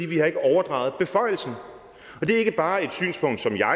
vi har ikke overdraget beføjelsen det er ikke bare et synspunkt som jeg og